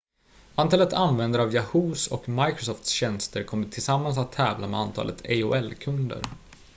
antalet användare av yahoo!s och microsofts tjänster kommer tillsammans att tävla med antalet aol-kunder